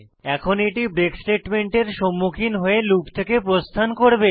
এখন এটি ব্রেক স্টেটমেন্টের সম্মুখীন হয়ে লুপ থেকে প্রস্থান করবে